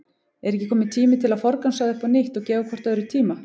Er ekki kominn tími til að forgangsraða upp á nýtt og gefa hvort öðru tíma?